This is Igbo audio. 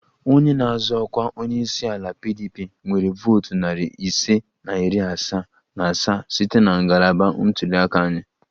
Onye na-azọ ọkwa onye isi ala PDP nwere votu narị ise na iri asaa na asaa site na ngalaba ntuli aka anyị